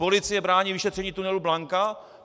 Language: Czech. Policie brání vyšetření tunelu Blanka?